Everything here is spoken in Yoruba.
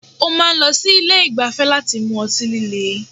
Ó máa n lọ sí Ilé ìgbafẹ́ láti mu ọtí líle